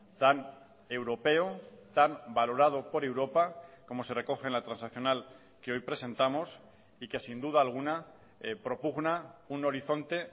tan europeo tan valorado por europa como se recoge en la transaccional que hoy presentamos y que sin duda alguna propugna un horizonte